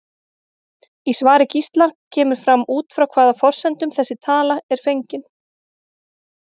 Í svari Gísla kemur fram út frá hvaða forsendum þessi tala er fengin.